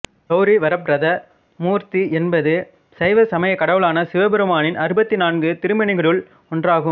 கௌரி வரப்ரத மூர்த்தி என்பது சைவ சமயக் கடவுளான சிவபெருமானின் அறுபத்து நான்கு திருமேனிகளுள் ஒன்றாகும்